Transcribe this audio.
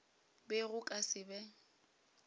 be go ka se be